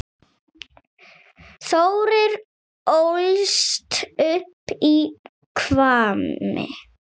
Þórir ólst upp í Hvammi.